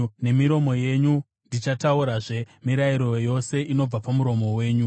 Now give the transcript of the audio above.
Nemiromo yangu ndichataurazve mirayiro yose inobva pamuromo wenyu.